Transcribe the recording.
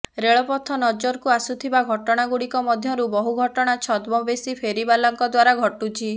ରେଳପଥ ନଜରକୁ ଆସୁଥିବା ଘଟଣାଗୁଡିକ ମଧ୍ୟରୁ ବହୁ ଘଟଣା ଛଦ୍ମବେଶୀ ଫେରିବାଲାଙ୍କ ଦ୍ୱାରା ଘଟୁଛି